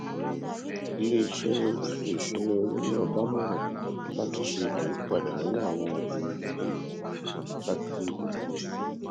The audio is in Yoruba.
iléiṣẹ ètò ìṣúnná owó náà dámọràn láti ṣe àyípadà nínú àwọn ohun ìní ìnáwó láti dín owó orí kù